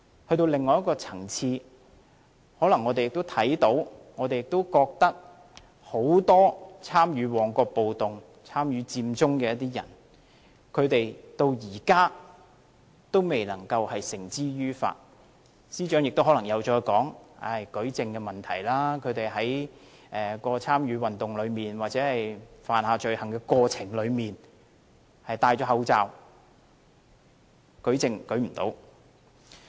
在另外一個層面，我們可能也看到很多參與旺角暴動和佔中的人至今仍未被繩之於法，司長可能又會說是舉證問題，因為他們在參與運動或犯下罪行的過程中戴了口罩，所以無法舉證。